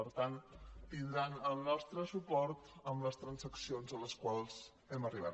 per tant tindran el nostre suport en les trans·accions a les quals hem arribat